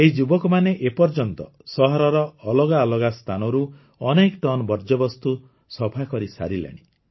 ଏହି ଯୁବକମାନେ ଏପର୍ଯ୍ୟନ୍ତ ସହରର ଅଲଗା ଅଲଗା ସ୍ଥାନରୁ ଅନେକ ଟନ୍ ବର୍ଜ୍ୟବସ୍ତୁ ସଫା କରିସାରିଲେଣି